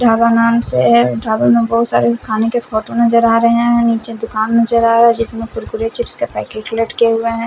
ढाबा नाम से है ढाबा में बहुत सारे खाने के फोटो नजर आ रहे हैं नीचे दुकान नजर आ रहा है जिसमें कुरकुरे चिप्स के पैकेट लटके हुएं हैं।